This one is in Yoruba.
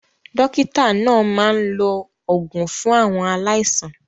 Dókítà náà máa ń lo òògùn fún àwọn aláìsàn.